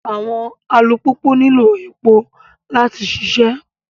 Awọn alupupu nilo epo lati ṣiṣẹ